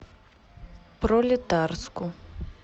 пролетарску